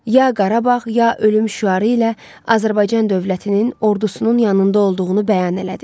Ya Qarabağ, ya ölüm şüarı ilə Azərbaycan dövlətinin ordusunun yanında olduğunu bəyan elədi.